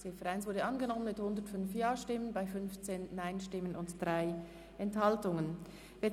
Die Ziffer 1 ist mit 105 Ja- zu 15 Nein-Stimmen bei 3 Enthaltungen angenommen worden.